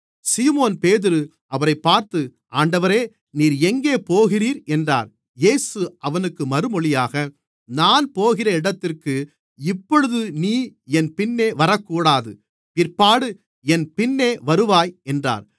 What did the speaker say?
சீமோன்பேதுரு அவரைப் பார்த்து ஆண்டவரே நீர் எங்கே போகிறீர் என்றான் இயேசு அவனுக்கு மறுமொழியாக நான் போகிற இடத்திற்கு இப்பொழுது நீ என் பின்னே வரக்கூடாது பிற்பாடு என் பின்னே வருவாய் என்றார்